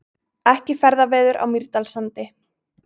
Ekki ferðaveður á Mýrdalssandi